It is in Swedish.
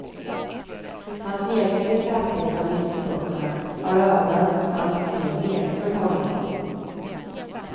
Hans egen besatthet av livsfrågorna har avlösts av en mer lekfull hållning.